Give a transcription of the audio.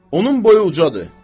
Onun boyu ucadır.